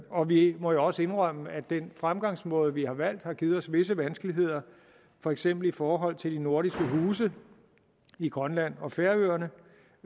og vi må jo også indrømme at den fremgangsmåde vi har valgt har givet os visse vanskeligheder for eksempel i forhold til de nordiske huse i grønland og færøerne